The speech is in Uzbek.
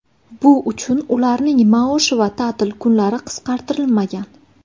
Bu uchun ularning maoshi va ta’til kunlari qisqartirilmagan.